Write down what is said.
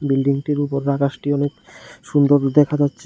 বিল্ডিংটির উপর আকাশটি অনেক সুন্দর দেখা যাচ্ছে।